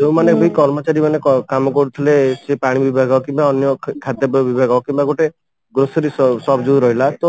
ଯୋଉ ମାନେ ବି କର୍ମଚାରୀ ମାନେ କାମ କରୁଥିଲେ ସେ ପାଣି ବିଭାଗ କିମ୍ବା ଅନ୍ୟ ଖାଦ୍ୟପେୟ ବିଭାଗ କିମ୍ବା ଗୋଟେ grocery shop ଯୋଉ ରହିଲା